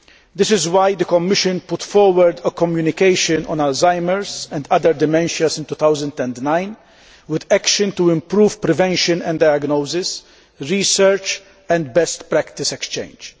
This is why the Commission put forward a Communication on Alzheimer's and other dementias in 2009 with action to improve prevention and diagnosis, research and best practice exchange.